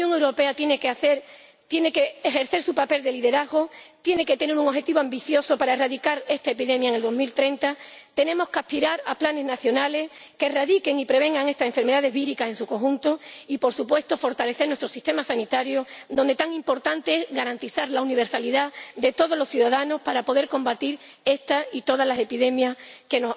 La Unión Europea tiene que ejercer su papel de liderazgo, tiene que tener un objetivo ambicioso para erradicar esta epidemia en el año 2030 tenemos que aspirar a planes nacionales que erradiquen y prevengan estas enfermedades víricas en su conjunto y, por supuesto, tenemos que fortalecer nuestro sistema sanitario, respecto del que tan importante es garantizar la universalidad para todos los ciudadanos para poder combatir esta y todas las epidemias que